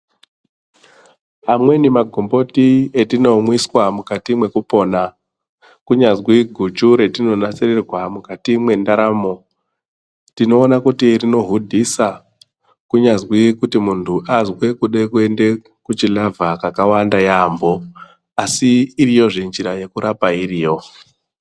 Pamweni magomboti etinomwiswa mukati mekopona kunyazwi guchu ratinonasirirwa mukati ye ndaramo tinona kuti rinohudhisa kunyazwi kuti muntu azwe kuenda kuchi lava kawanda yambo asi iriyo zve nyira yekurapa iriyo.